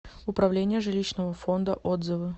управление жилищного фонда отзывы